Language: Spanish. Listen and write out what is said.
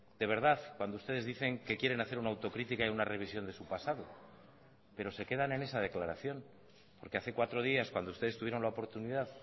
de verdad cuando ustedes dicen que quieren hacer una autocrítica y una revisión de su pasado pero se quedan en esa declaración porque hace cuatro días cuando ustedes tuvieron la oportunidad